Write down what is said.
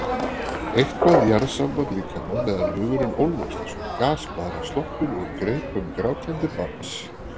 Eitthvað jarðsamband líkama meðan hugurinn ólmast eins og gasblaðra sloppin úr greipum grátandi barns.